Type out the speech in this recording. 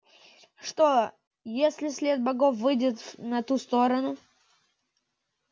что если след богов выйдет на ту сторону